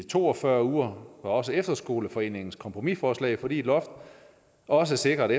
to og fyrre uger er også efterskoleforeningens kompromisforslag fordi et loft også sikrer at